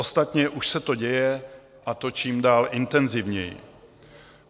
Ostatně už se to děje, a to čím dál intenzivněji.